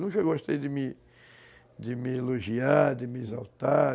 Nunca gostei de me de me elogiar, de me exaltar.